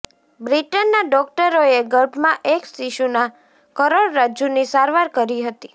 બ્રિટનના ડોક્ટરોએ ગર્ભમાં એક શિશુના કરોડરજ્જુની સારવાર કરી હતી